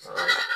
Hɔn